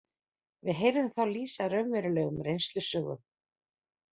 Við heyrðum þá lýsa raunverulegum reynslusögum